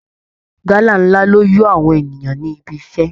Gálà ńlá ló yó àwọn ènìyàn níbi iṣẹ́